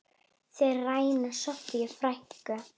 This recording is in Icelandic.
Þeir ræna Soffíu frænku.